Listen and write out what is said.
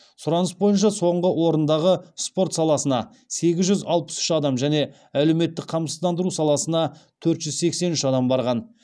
сұраныс бойынша соңғы орындағы спорт саласына сегіз жүз алпыс үш адам және әлеуметтік қамсыздандыру саласына төрт жүз сексен үш адам барған